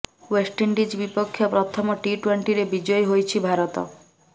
West Indies ବିପକ୍ଷ ପ୍ରଥମ T ଟ୍ୱେଂଟିରେ ବିଜୟୀ ହୋଇଛି ଭାରତ